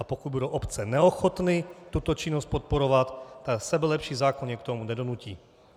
A pokud budou obce neochotny tuto činnost podporovat, tak sebelepší zákon je k tomu nedonutí.